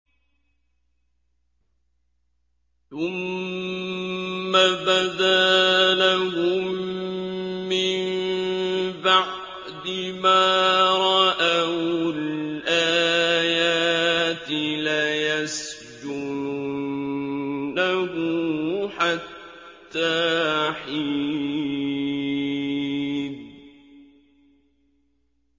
ثُمَّ بَدَا لَهُم مِّن بَعْدِ مَا رَأَوُا الْآيَاتِ لَيَسْجُنُنَّهُ حَتَّىٰ حِينٍ